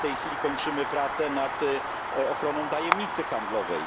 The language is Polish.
W tej chwili kończymy prace nad ochroną tajemnicy handlowej.